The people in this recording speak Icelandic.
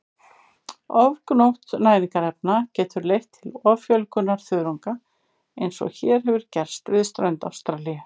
Ofgnótt næringarefna getur leitt til offjölgunar þörunga eins og hér hefur gerst við strönd Ástralíu.